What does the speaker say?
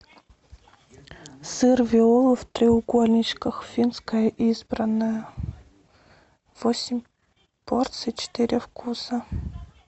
сыр виола в треугольничках финское избранное восемь порций четыре вкуса